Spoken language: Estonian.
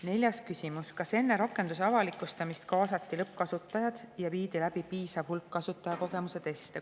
Neljas küsimus: "Kas enne rakenduse avalikustamist kaasati lõppkasutajad ja viidi läbi piisav hulk kasutajakogemuse teste?